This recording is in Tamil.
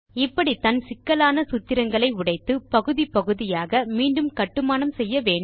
இப்படித்தான் சிக்கலான சூத்திரங்களை உடைத்து பகுதி பகுதியாக மீண்டும் கட்டுமானம் செய்ய வேண்டும்